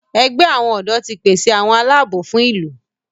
ègbé àwọn odò tí pèsè àwọn Àlàabò fún ìlú.